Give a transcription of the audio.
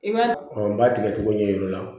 I b'a n b'a tigɛ cogo ɲɛ yir'u la